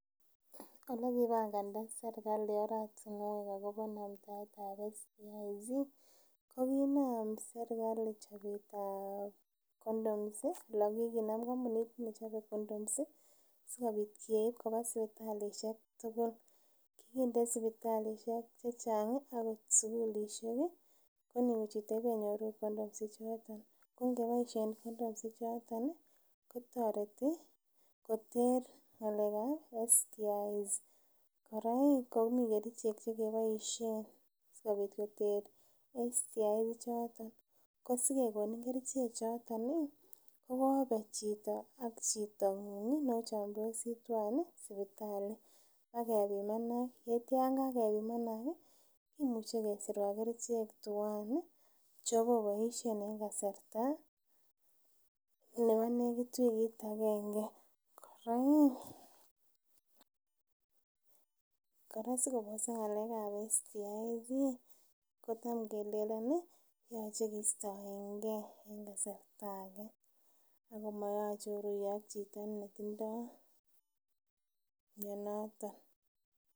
Ole kipanganda sirkali oratunwek akopa namtaet ap STIs ko kiinam sirkali chopetap condoms i, ole kikinem kampunit nechope condoms i, si kopiit kiit kopa sipitalishek tugul. Kikinde sipitalishek che chang' i, akot sukulishek i, ko ni kochute kenyoru condoms ichotok. Ko ngepaishe condoms ichotoon i kotareti koter ng'alek ap STIs. Kora i, ko mi kerichek che kepaishe si kopitkoter STIs ichoton . Ko si kekonin kerichechotoni i, ko kope chito ak chita ng'ung' i notok ne o chamdosi tuwan i, sipitali akipimanak. Tetia ang' ye kakepimanak i, imuchi kesirwak kerichek tuwan i, che po paishe eng' kasarta nepo nekit wikit agenge. Kora sikoposak ng'alek ap STIs ko tam kele nani yache keistaen ge eng' kasrta age ako mayache oruye ak chito netindai mionoton.